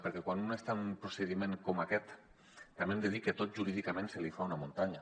perquè quan un està en un procediment com aquest també hem de dir que tot jurídicament se li fa una muntanya